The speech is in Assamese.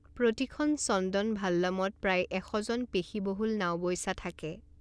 প্ৰতিখন চন্দন ভাল্লামত প্ৰায় এশজন পেশীবহুল নাওবৈচা থাকে।